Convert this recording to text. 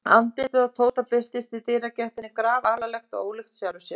Júra bróðir reyndi að verja hann, en við ofurefli var að etja.